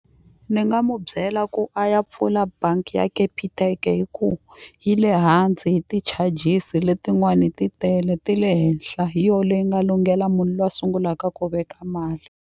Ni nga mu byela ku a ya pfula bangi ya Capitec-e hi ku yi le hansi hi ti-charges letin'wani ti tele ti le henhla hi yo leyi nga lunghela munhu loyi a sungulaka ku veka mali.